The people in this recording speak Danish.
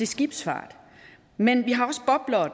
skibsfart men vi har også boblere